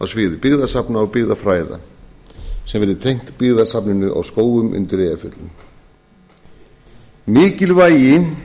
sviði byggðasafna og byggðafræða sem verði tengt byggðasafninu á skógum undir eyjafjöllum mikilvægi